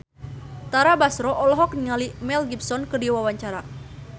Tara Basro olohok ningali Mel Gibson keur diwawancara